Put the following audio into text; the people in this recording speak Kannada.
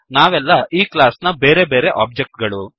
ನಾವೆಲ್ಲ ಈ ಕ್ಲಾಸ್ ನ ಬೇರೆ ಬೇರೆ ಒಬ್ಜೆಕ್ ಗಳು